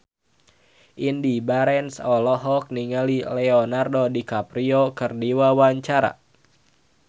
Indy Barens olohok ningali Leonardo DiCaprio keur diwawancara